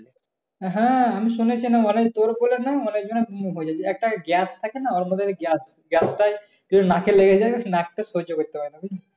হ্যাঁ আমি শুনেছিলাম। অনেক তোর বললাম না? অনেকজন একটা gas থাকে না? ওর ভিতরে gas টাই যদি নাকে লেগে যায়। নাকটা সহ্য করতে পারবে না।